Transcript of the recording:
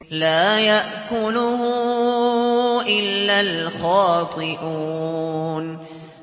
لَّا يَأْكُلُهُ إِلَّا الْخَاطِئُونَ